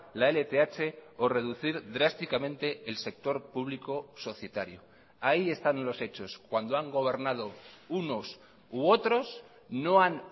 la lth o reducir drásticamente el sector público societario ahí están los hechos cuando han gobernado unos u otros no han